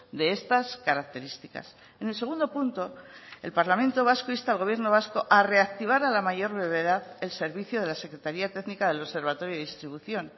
de estas características en el segundo punto el parlamento vasco insta al gobierno vasco a reactivar a la mayor brevedad el servicio de la secretaría técnica del observatorio de distribución